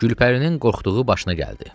Gülpərinin qorxduğu başına gəldi.